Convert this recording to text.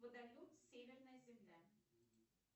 водоем северная земля